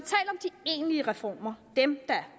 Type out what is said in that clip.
egentlige reformer dem der